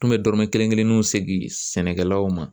N kun bɛ dɔrɔmɛ kelen kelenw segin sɛnɛkɛlaw ma